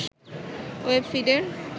web ফিডের